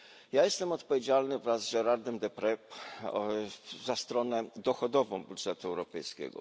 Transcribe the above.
Ja jestem odpowiedzialny wraz z Gérardem Deprezem za stronę dochodową budżetu europejskiego.